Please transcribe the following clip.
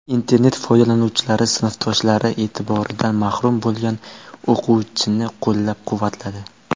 Internet foydalanuvchilari sinfdoshlari e’tiboridan mahrum bo‘lgan o‘quvchini qo‘llab-quvvatladi.